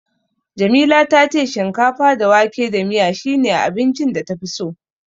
Jamila ta ce shinkafa da wake da miya shine abincin da tafi so.